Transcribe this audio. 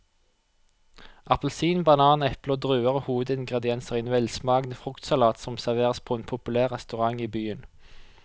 Appelsin, banan, eple og druer er hovedingredienser i en velsmakende fruktsalat som serveres på en populær restaurant i byen.